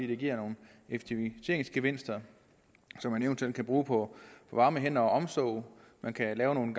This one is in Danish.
det giver nogle effektiviseringsgevinster som man eventuelt kan bruge på varme hænder og omsorg og man kan lave nogle